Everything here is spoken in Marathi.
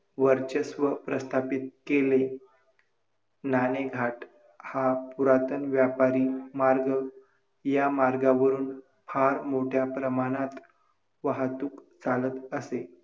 महाराष्टात हजारो काळापासून दुष्काळ पडत आ पडत आहे. आजही जिथे तिथे पाण्याची कमतरता भासते आहे.